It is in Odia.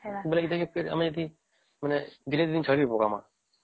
ବୋଲେ ଏଠି ଫିର ଆମେ ଏଠି ଦିନେ ଦୁଇ ଦିନ ଛାଡ଼ିବୁ